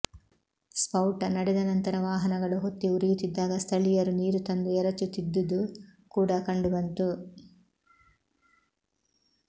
ಸ್ಪೌಟ ನಡೆದ ನಂತರ ವಾಹನಗಳು ಹೊತ್ತಿ ಉರಿಯುತ್ತಿದ್ದಾಗ ಸ್ಥಳೀಯರು ನೀರು ತಂದು ಎರಚುತ್ತಿದ್ದುದು ಕೂಡ ಕಂಡುಬಂತು